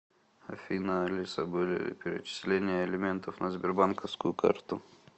афина алиса были ли перечисления алиментов на сбербанковскую карту